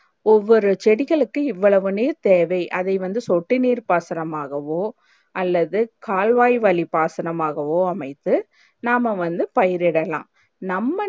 ஒவ்வொரு செடிகளுக்கு இவ்வளவுன்னு தேவை அதை வந்து தொட்டி நீர் பசனமாகவோ அல்லது கால்வாய் வழி பசனமாகவோ அமைத்து நாம வந்து பயிர் இடலாம் நம்ம